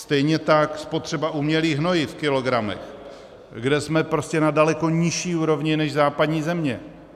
Stejně tak spotřeba umělých hnojiv v kilogramech, kde jsme prostě na daleko nižší úrovni než západní země.